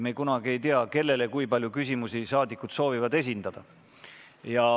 Me kunagi ei tea, kellele ja kui palju küsimusi rahvasaadikud soovivad esitada.